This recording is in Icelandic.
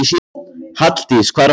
Halldís, hvað er að frétta?